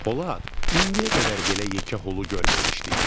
Polad, indiyə qədər belə yekə xolu görməmişdik.